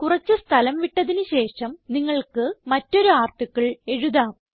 കുറച്ച് സ്ഥലം വിട്ടതിന് ശേഷം നിങ്ങൾക്ക് മറ്റൊരു ആർട്ടിക്കിൾ എഴുതാം